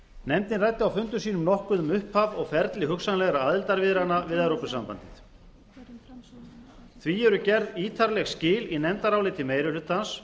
nefndin ræddi á fundum sínum nokkuð um upphaf og ferli hugsanlegra aðildarviðræðna við evrópusambandið því eru gerð ítarleg skil í nefndaráliti meiri hlutans